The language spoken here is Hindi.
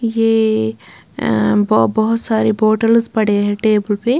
यह अ अ ब बहुत सारे बोतल्स पड़े हैं टेबल पे।